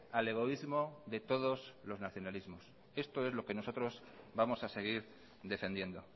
al egoísmo de todos los nacionalismos esto es lo que nosotros vamos a seguir defendiendo